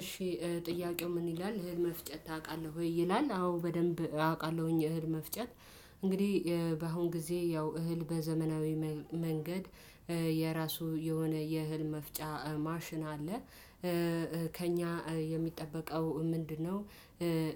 እሺ ጥያቄው ምን ይላል እህል መፍጨት ታቃለ ወይ? ይላል አዎ በደንብ አውቃለሁኝ እህል መፍጨት። እንግዲህ በአሁን ጊዜ ያው እህል በዘመናዊ መንገድ የራሱ የሆነ የእህል መፍጫ ማሽን አለ። ከእኛ የሚጠበቀው ምንድነው?